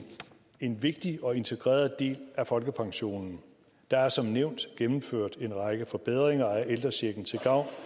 en vigtig og integreret del af folkepensionen der er som nævnt gennemført en række forbedringer af ældrechecken til gavn